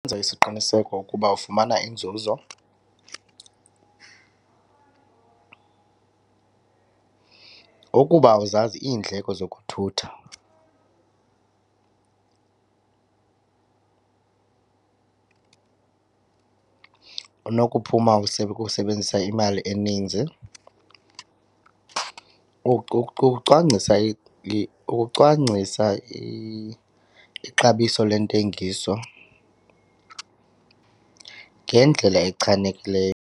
isiqiniseko ukuba ufumana inzuzo ukuba awuzazi iindleko zokuthutha unokuphuma ukusebenzisa imali eninzi. Ucwangisa ukucwangcisa ixabiso lwentengiso ngendlela echanekileyo.